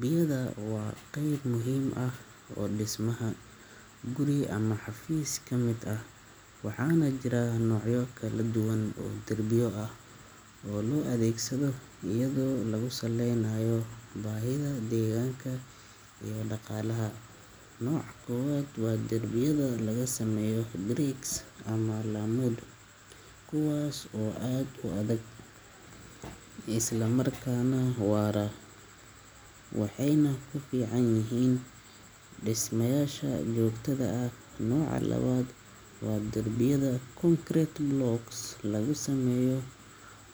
Derbiyada waa qayb muhiim ah oo dhismaha guri ama xafiis ka mid ah, waxaana jira noocyo kala duwan oo derbiyo ah oo loo adeegsado iyadoo lagu saleynayo baahida, deegaanka iyo dhaqaalaha. Nooca koowaad waa derbiyada laga sameeyo bricks ama laamud, kuwaas oo aad u adag isla markaana waara, waxayna ku fiican yihiin dhismayaasha joogtada ah. Nooca labaad waa derbiyada concrete blocks laga sameeyo,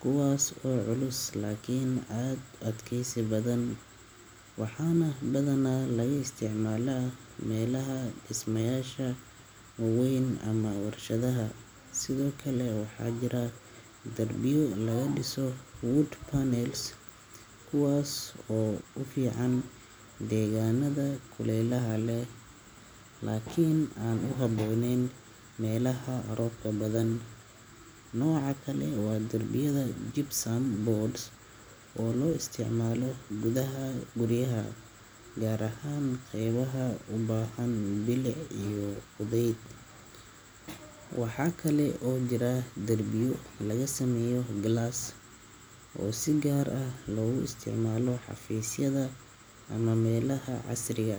kuwaas oo culus laakiin aad u adkeysi badan, waxaana badanaa laga isticmaalaa meelaha dhismayaasha waa weyn ama warshadaha. Sidoo kale waxaa jira derbiyo laga dhiso wood panels, kuwaas oo u fiican deegaannada kulaylaha leh, laakiin aan ku habboonayn meelaha roobka badan. Nooc kale waa derbiyada gypsum boards ah oo loo isticmaalo gudaha guryaha, gaar ahaan qaybaha u baahan bilic iyo fudeyd. Waxaa kale oo jira derbiyo laga sameeyo glass oo si gaar ah loogu isticmaalo xafiisyada ama meelaha casriga ah.